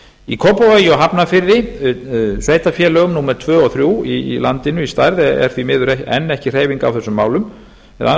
í kópavogi og hafnarfirði sveitarfélögum númer tvö og þrjú í landinu í stærð er því miður enn ekki hreyfing á þessum málum eða alla